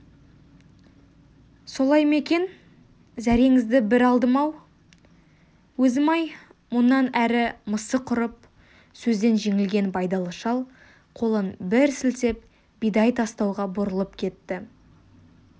солай ма екен зәреңізді бір алдым-ау өзім-ай мұнан әрі мысы құрып сөзден жеңілген байдалы шал қолын бір сілтеп бидай тастауға бұрылып кетті